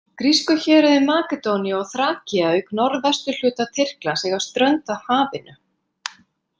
Grísku héruðin Makedónía og Þrakía auk norðvesturhluta Tyrklands eiga strönd að hafinu.